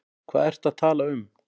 Hvað ertu að tala um?